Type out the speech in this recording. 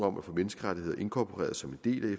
om at få menneskerettigheder inkorporeret som en del